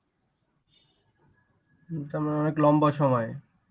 লম্বা সময়.